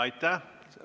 Aitäh!